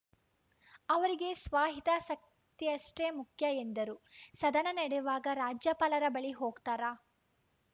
ಅವರಿಗೆ ಸ್ವಹಿತಾಸಕ್ತಿಯಷ್ಟೇ ಮುಖ್ಯ ಎಂದರು ಸದನ ನಡೆವಾಗ ರಾಜ್ಯಪಾಲರ ಬಳಿ ಹೋಗ್ತಾರಾ